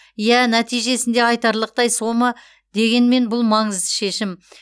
иә нәтижесінде айтарлықтай сома дегенмен бұл маңызды шешім